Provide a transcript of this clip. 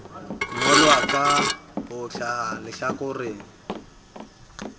ngolwa ka ho hlaha lehlakoreng